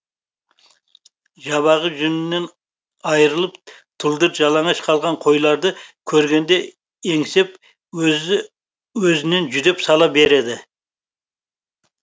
жабағы жүнінен айрылып тұлдыр жалаңаш қалған қойларды көргенде еңсеп өзі өзінен жүдеп сала береді